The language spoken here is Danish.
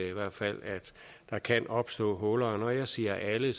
i hvert fald at der kan opstå huller når jeg siger alle